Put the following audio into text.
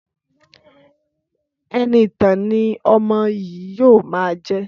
Ẹniìtàn ni ọmọ yìí yóò máa jẹ́!